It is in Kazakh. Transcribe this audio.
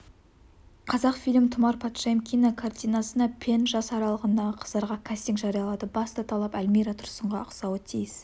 қазақфильм тұмар патшайым кинокартинасына пен жас аралығындағы қыздарға кастинг жариялады басты талап әлмира тұрсынға ұқсауы тиіс